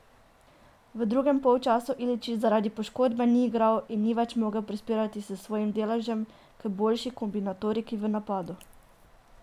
V drugem polčasu Iličić zaradi poškodbe ni igral in ni več mogel prispevati s svojim deležem k boljši kombinatoriki v napadu.